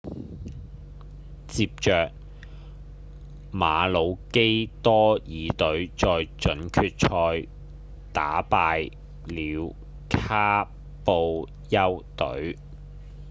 接著馬魯基多爾隊在準決賽打敗了卡布丘隊